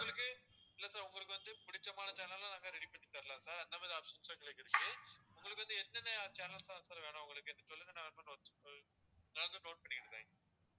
உங்களுக்கு இல்ல sir உங்களுக்கு வந்து பிடிச்சமான channels லும் நாங்க ready பண்ணி தரலாம் sir அந்த மாதிரி options உம் எங்களுக்கு இருக்கு. உங்களுக்கு வந்து எந்தெந்த channels லாம் sir வேணும் உங்களுக்கு நீங்க சொல்லுங்க நான் note பண்~ நாங்க note பண்ணிக்கிறேன்